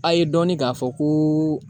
A ye dɔnni k'a fɔ ko